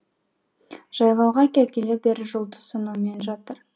жайлауға келгелі бері жұлдыз санаумен жатыр